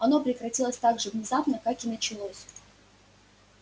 оно прекратилось так же внезапно как и началось